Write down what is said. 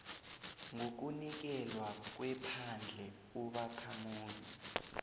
ngokunikelwa kwephandle ubakhamuzi